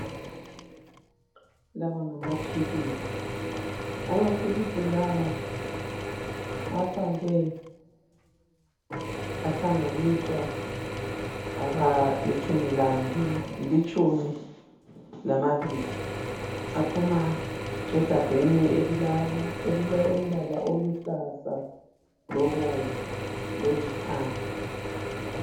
Lawa ngamaphilisi, amaphilisi lawa afakwe ahlanganiswa abalitshumi lamabili , aphuma egabheni elilombala oluhlaza, lobomvu lolithanga